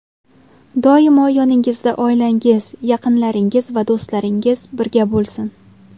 Doimo yoningizda oilangiz, yaqinlaringiz va do‘stlaringiz birga bo‘lsin.